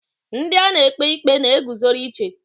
Ndi a na-ekpe ikpe na-eguzoro iche.